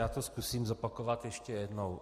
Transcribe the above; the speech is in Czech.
Já to zkusím zopakovat ještě jednou.